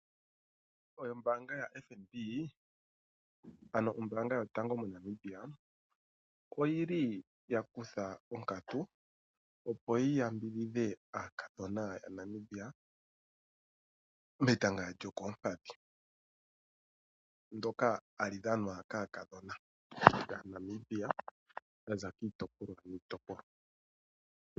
Ombaanga yoFNB, ano ombaanga yotango yopashigwana oyi li ya kutha onkatu, opo yi yambidhidhe aakadhona yAnamibia metanga lyokoompadhi ndyoka hali dhanwa kaakadhona yAnamibia okuza kiitopolwa niitopolwa.